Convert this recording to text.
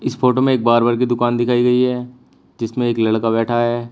इस फोटो में एक बार्बर की दुकान दिखाई गई है जिसमें एक लड़का बैठा है।